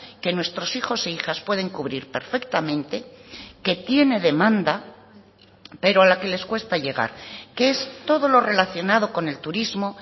que nuestros hijos e hijas pueden cubrir perfectamente que tiene demanda pero a la que les cuesta llegar que es todo lo relacionado con el turismo